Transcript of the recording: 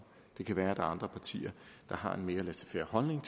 det kan være der er andre partier der har en mere laissez faire holdning